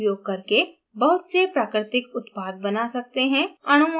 हम isoprene का उपयोग करके बहुत से प्राकृतिक उत्पाद बना सकते है